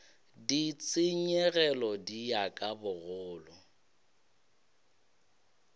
ditshenyegelo di ya ka bogolo